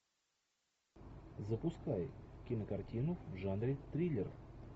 запускай кинокартину в жанре триллер